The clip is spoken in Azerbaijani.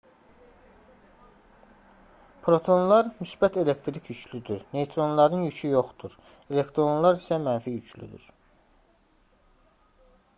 protonlar müsbət elektrik yüklüdür neytronların yükü yoxdur elektronlar isə mənfi yüklüdür